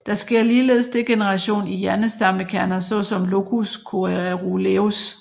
Der sker ligeledes degeneration i hjernestammekerner såsom locus coeruleus